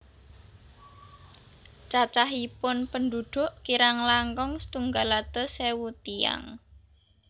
Cacahipun pendhudhuk kirang langkung setunggal atus ewu tiyang